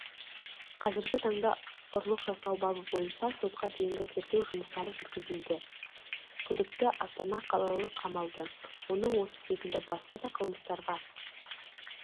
қазіргі таңда ұрлық жасау бабы бойынша сотқа дейінгі тергеу жұмыстары жүргізілуде күдікті астана қалалық қамалды оның осы секілді басқа да қылмыстарға